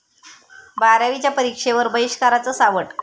बारावीच्या परीक्षेवर बहिष्काराचं सावट